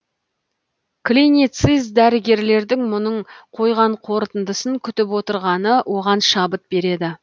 клиницист дәрігерлердің мұның қойған қорытындысын күтіп отырғаны оған шабыт береді